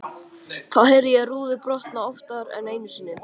Þá heyrði ég rúður brotna, oftar en einu sinni.